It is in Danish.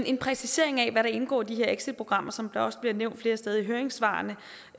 en præcisering af hvad der indgår i de her exitprogrammer som det også er nævnt flere steder i høringssvarene